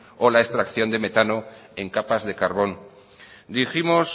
o la extracción de metano en capas de carbón dijimos